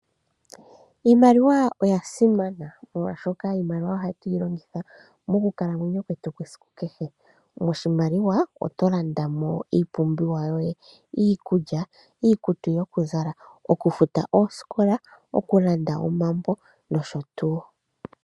Iimaliwa oya simana molwaashoka iimaliwa ohatu yi longitha mokukalamwenyo kwetu kesiku kehe. Moshimaliwa oto landa mo iipumbiwa yoye, iikulya, iikutu yoku zala, oku futa ooskola, oku landa omambo nosho tuu.